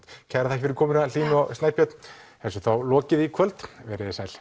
takk fyrir komuna Hlín og Snæbjörn þessu er þá lokið í kvöld veriði sæl